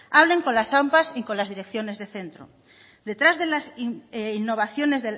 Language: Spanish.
hablen con las ampa y con las direcciones de centro detrás